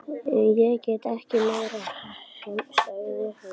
Ég get ekki meir, sagði hún.